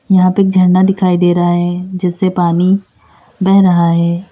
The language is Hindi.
यहां पे एक झरना दिखाई दे रहा है जिससे पानी बह रहा है।